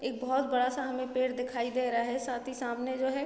एक बहुत बड़ा-सा हमे पेड़ दिखाई दे रहा है साथ ही सामने जो है --